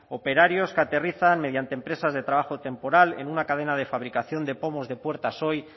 operarios que aterrizan mediante empresas de trabajo temporal en una cadena de fabricación de pomos de puertas hoy